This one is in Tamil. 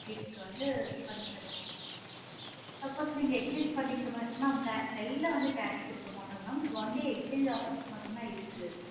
வீட்டுக்கு வந்து பண்ணி தருவாங்க mam suppose நீங்க exchange பண்ணிக்கிற மாதிரி mam க கைல வந்து cash குடுக்க மாட்டோம் mam only exchange offers தான் இருக்கு.